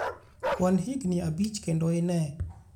Kwan higni abich kendo ine.